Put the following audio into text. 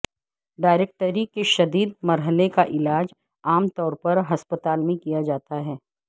directory کے شدید مرحلے کا علاج عام طور پر ہسپتال میں کیا جاتا ہے